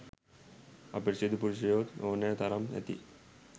අපිරිසිදු පුරුෂයෝත් ඕනෑ තරම් ඇති